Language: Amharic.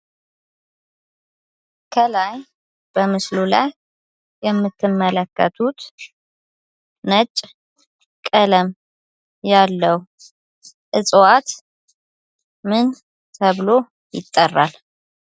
ከላይ በምስሉ ላይ የምትመለከቱት ነጭ ቀለም ያለው እፅዋት ምን ተብሎ ይጠራል?